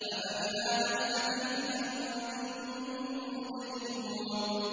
أَفَبِهَٰذَا الْحَدِيثِ أَنتُم مُّدْهِنُونَ